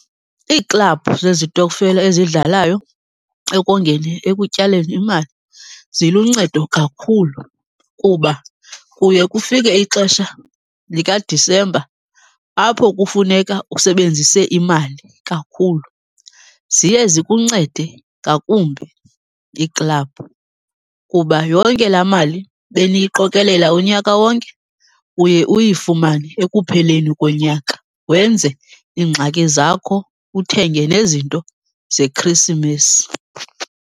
Iiklabhu zezitokfela eziyidlalayo ekongeni, ekutyaleni imali, ziluncedo kakhulu kuba kuye kufike ixesha likaDisemba apho kufuneka usebenzise imali kakhulu. Ziye zikuncede ngakumbi iiklabhu kuba yonke laa mali beniyiqokelela unyaka wonke, uye uyifumane ekupheleni konyaka wenze iingxaki zakho, uthenge nezinto zeKrisimesi.